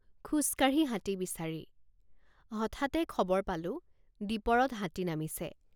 খোজকাঢ়ি হাতী বিচাৰি হঠাতে খবৰ পালোঁ দীপৰত হাতী নামিছে।